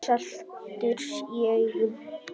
Saltur í augum.